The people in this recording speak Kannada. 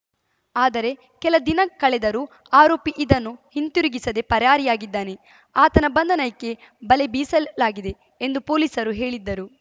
ಆದರೆ ಕೆಲ ದಿನ ಕಳೆದರೂ ಆರೋಪಿ ಇದನ್ನು ಹಿಂದಿರುಗಿಸದೇ ಪರಾರಿಯಾಗಿದ್ದಾನೆ ಆತನ ಬಂಧನಕ್ಕೆ ಬಲೆ ಬೀಸಲಾಗಿದೆ ಎಂದು ಪೊಲೀಸರು ಹೇಳಿದ್ದರು